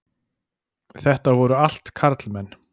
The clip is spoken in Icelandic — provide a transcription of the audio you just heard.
Þetta voru allt karlmenn.